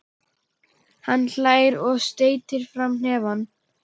Hann hlær og steytir fram hnefann.